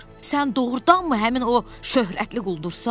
Sən doğrudanmı həmin o şöhrətli quldursan?